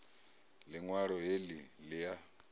liṋ walo he li a